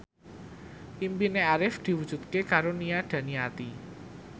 impine Arif diwujudke karo Nia Daniati